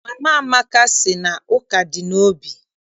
Mama Amaka sị na ụka dị n'obi.